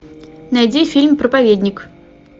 найди фильм проповедник